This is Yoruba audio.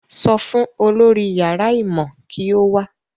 Sọ fún olórí yàrá ìmọ̀ kí ó wá